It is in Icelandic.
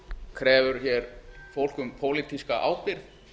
krefur hér fólk um pólitíska ábyrgð